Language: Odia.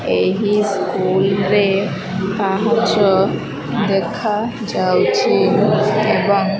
ଏହି ସ୍କୁଲ ରେ ପାହାଚ ଦେଖା ଯାଉଛି ଏବଂ --